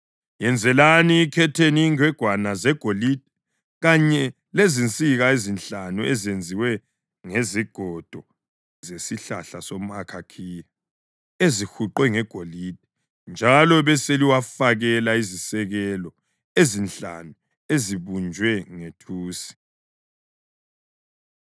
Yenzelani ikhetheni ingwegwana zegolide kanye lezinsika ezinhlanu ezenziwe ngezigodo zesihlahla somʼakhakhiya ezihuqwe ngegolide. Njalo beseliwafakela izisekelo ezinhlanu ezibunjwe ngethusi.”